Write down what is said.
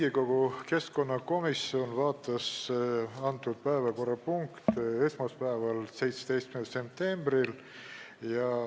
Riigikogu keskkonnakomisjon vaatas seda päevakorrapunkti esmaspäeval, 17. septembril.